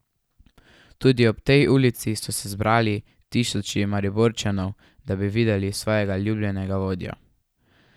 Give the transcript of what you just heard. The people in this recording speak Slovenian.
Tudi ob tej ulici so se zbrali tisoči Mariborčanov, da bi videli svojega ljubljenega vodjo.